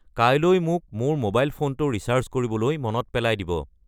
কাইলৈ মোক মোৰ ম'বাইল ফোনটো ৰিচাৰ্জ কৰিবলৈ মনত পেলাই দিব।